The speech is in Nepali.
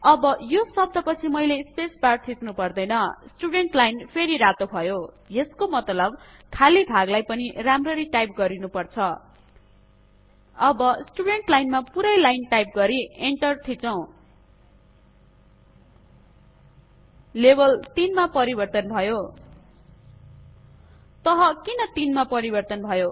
अब यो शब्द पछि मैले स्पेस बार थिच्नु पर्दैन स्टुडेन्टस लाइन फेरि रातो भयो यसको मतलब खाली भागलाई पनि राम्ररी टाइप गरिनुपर्छ अब स्टुडेन्टस लाइनमा पूरै लाइन टाइप गरी एंटर ठीक थिच्छौ लेभल ३ मा परिबर्तन भयो तह किन ३ मा परिबर्तन भयो